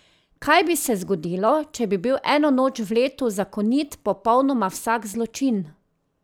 Kaj bi se zgodilo, če bi bil eno noč v letu zakonit popolnoma vsak zločin?